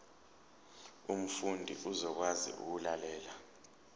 umfundi uzokwazi ukulalela